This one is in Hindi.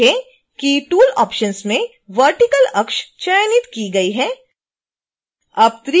देखें कि tool options में vertical अक्ष चयनित की गई है